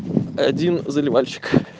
один заливальщик